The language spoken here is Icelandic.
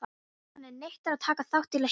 Hann neitar að taka þátt í leiknum.